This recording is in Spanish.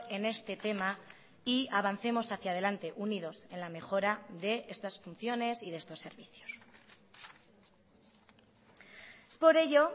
en este tema y avancemos hacia delante unidos en la mejora de estas funciones y de estos servicios es por ello